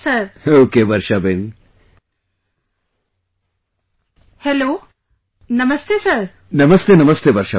Okay Varshaben